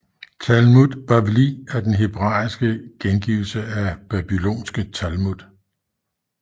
Talmud Bavli er den hebraiske gengivelse af babylonske Talmud